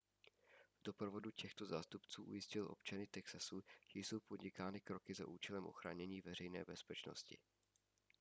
v doprovodu těchto zástupců ujistil občany texasu že jsou podnikány kroky za účelem ochránění veřejné bezpečnosti